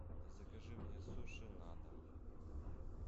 закажи мне суши на дом